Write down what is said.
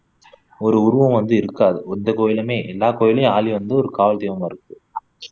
ஒரு உருவம் வந்து இருக்காது எந்த கோவில்லையுமே எல்லா கோவிவில்லேயும் யாழி வந்து ஒரு காவல் தெய்வமா இருக்கும்